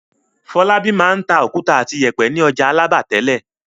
Fọlábí máa ń ta òkúta àti ìyẹ̀pẹ̀ ní ọjà Alábà tẹ́lẹ̀.